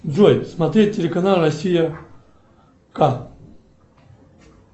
джой смотреть телеканал россия к